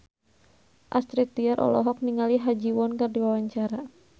Astrid Tiar olohok ningali Ha Ji Won keur diwawancara